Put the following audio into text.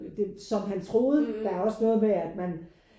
Som han troede der er også noget med at man